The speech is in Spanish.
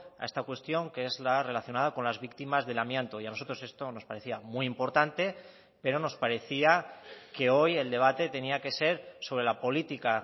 a esta cuestión que es la relacionada con las víctimas del amianto y a nosotros esto nos parecía muy importante pero nos parecía que hoy el debate tenía que ser sobre la política